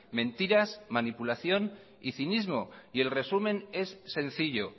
mentiras manipulación y cinismo el resumen es sencillo